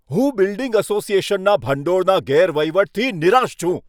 હું બિલ્ડિંગ અસોસિએશનના ભંડોળના ગેરવહીવટથી નિરાશ છું.